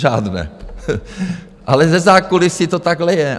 Žádné, ale ze zákulisí to takhle je.